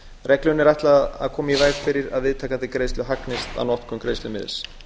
reglunni er ætlað að koma í veg fyrir að viðtakandi greiðslu hagnist á notkun greiðslumiðils